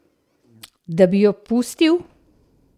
Da bi jo pustil?